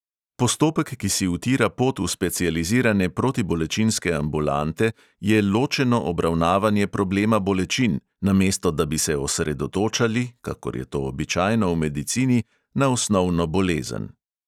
Postopek, ki si utira pot v specializirane protibolečinske ambulante, je ločeno obravnavanje problema bolečin, namesto da bi se osredotočali – kakor je to običajno v medicini – na osnovno bolezen.